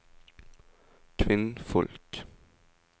kvinnfolk